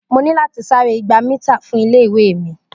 Mo ní láti sáré igba mítà fún ilé-ìwé mi.